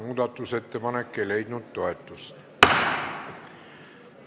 Muudatusettepanek ei leidnud toetust.